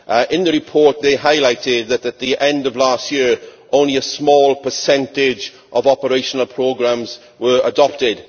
In the report they highlighted that at the end of last year only a small percentage of operational programmes were adopted.